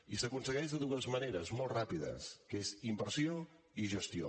i s’aconsegueix de dues maneres molt ràpides que són inversió i gestió